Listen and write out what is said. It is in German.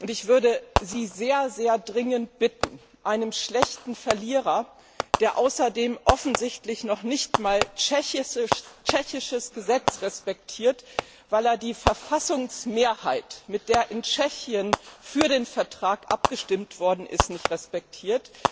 Ich möchte Sie sehr, sehr dringend bitten, einem schlechten Verlierer, der außerdem offensichtlich noch nicht einmal tschechisches Recht respektiert, weil er die Verfassungsmehrheit, mit der in Tschechien für den Vertrag gestimmt worden ist, nicht respektiert,